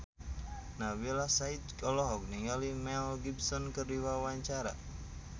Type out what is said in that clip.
Nabila Syakieb olohok ningali Mel Gibson keur diwawancara